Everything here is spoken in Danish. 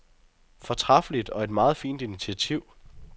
Fortræffeligt og et meget fint initiativ.